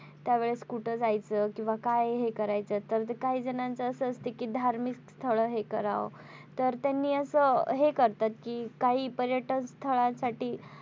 त्या वेळेस कुठे जायचं किंवा काय हे करायचं तर काही जणांच असं असत कि धार्मिक स्थळ हे करावं तर त्यांनी असं हे करतात. कि काही पर्यटन स्थळासाठी,